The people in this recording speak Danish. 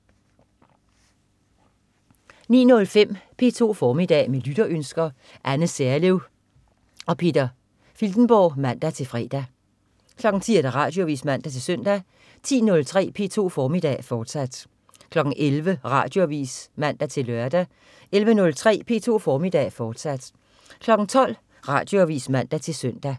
09.05 P2 formiddag. Med lytterønsker. Anne Serlev og Peter Filtenborg (man-fre) 10.00 Radioavis (man-søn) 10.03 P2 formiddag, fortsat 11.00 Radioavis (man-lør) 11.03 P2 formiddag, fortsat 12.00 Radioavis (man-søn)